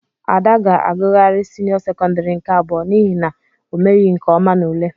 Ada ga-agughari senio sekondari nke abụọ n'ihi na omeghi nke ọma n'ule.